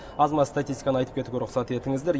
аз маз статистиканы айтып кетуге рұқсат етіңіздер